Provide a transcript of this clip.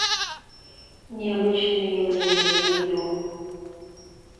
необычные явления видео